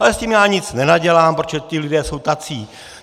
Ale s tím já nic nenadělám, protože ti lidé jsou tací.